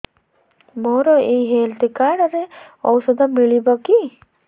ମୋର ଏଇ health card ରେ ଔଷଧ ମିଳିବ କି